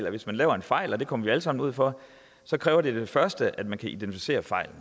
at hvis man laver en fejl og det kommer vi alle sammen ud for så kræver det som det første at man kan identificere fejlen